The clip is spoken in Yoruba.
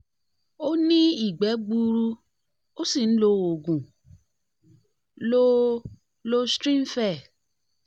ó ní ìgbẹ́ gbuuru ó sì ń lo oògùn lo loestrin fe